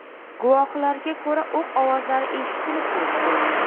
Guvohlarga ko‘ra, o‘q ovozlari eshitilib turibdi.